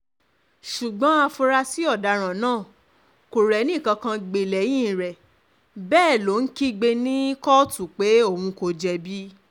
ṣùgbọ́n afurasí ọ̀daràn náà kò rẹ́nìkankan gbé lẹ́yìn rẹ̀ bẹ́ẹ̀ um ló ń kígbe ní um kóòtù pé òun kò jẹ̀bi